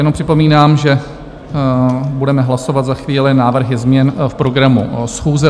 Jenom připomínám, že budeme hlasovat za chvíli návrhy změn v programu schůze.